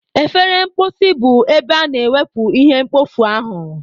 Efere mposi bụ ebe a na-ewepu ihe mkpofu ahu.